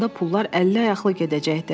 Onda pullar əlli-ayaqlı gedəcəkdi.